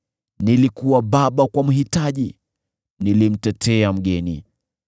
Nilikuwa baba kwa mhitaji; nilimtetea mgeni.